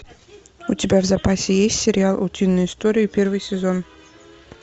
у тебя в запасе есть сериал утиные истории первый сезон